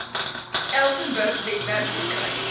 elsenburg webwerf verkry